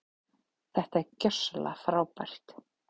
Þetta var gjörsamlega frábært.